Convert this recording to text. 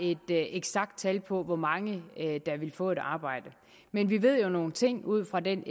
et eksakt tal på hvor mange der vil få et arbejde men vi ved jo nogle ting ud fra den